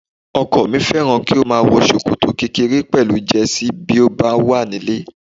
Ọkọ mi fẹ́ràn kí ó máa wọ ṣòkòtò kékèké pẹ̀lú Jẹ́sí bí ó bá wà nílé